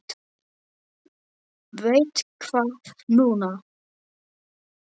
Veit það núna.